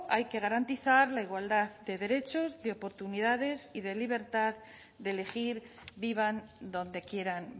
hay que garantizar la igualdad de derechos de oportunidades y de libertad de elegir vivan donde quieran